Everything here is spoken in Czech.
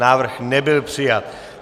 Návrh nebyl přijat.